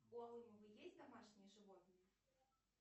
у алымова есть домашние животные